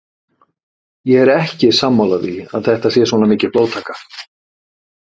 Ég er ekki sammála því að þetta sé svona mikil blóðtaka.